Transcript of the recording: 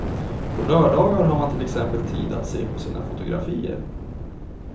På lördagar har man till exempel tid att se på sina fotografier.